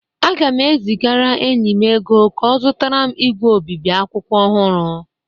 Aga m ezigara enyi m ego ka ọ zụtara m ígwè obibi akwụkwọ ọhụrụ